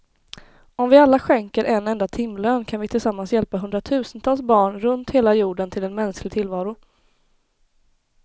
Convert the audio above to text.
Om vi alla skänker en enda timlön kan vi tillsammans hjälpa hundratusentals barn runt hela jorden till en mänsklig tillvaro.